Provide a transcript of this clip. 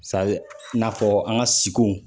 Sadi n'afɔ an ka siko